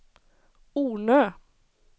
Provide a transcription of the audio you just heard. Ornö